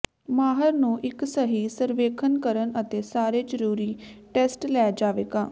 ਮਾਹਰ ਨੂੰ ਇੱਕ ਸਹੀ ਸਰਵੇਖਣ ਕਰਨ ਅਤੇ ਸਾਰੇ ਜਰੂਰੀ ਟੈਸਟ ਲੈ ਜਾਵੇਗਾ